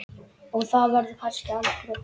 Og það verður kannski aldrei.